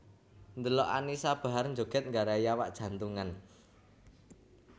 Ndelok Annisa Bahar njoget nggarai awak jantungan